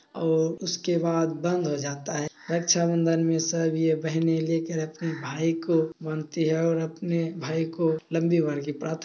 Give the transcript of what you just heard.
और उसके बाद बंद हो जाता है रक्छा बंदन में सब यह बहने ले कर अपने भाई को बांधती है और आपने भाई को लम्बी उम्र की प्राथना--